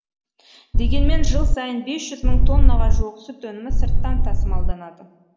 дегенмен жыл сайын бес жүз мың тоннаға жуық сүт өнімі сырттан тасымалданады